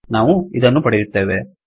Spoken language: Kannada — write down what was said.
ನಾವು ಇದನ್ನು ಪಡೆಯುತ್ತೇವೆ